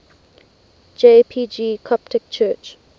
jpg coptic church